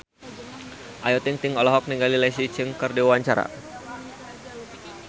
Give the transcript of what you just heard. Ayu Ting-ting olohok ningali Leslie Cheung keur diwawancara